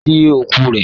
Lọ sìn òkú rẹ!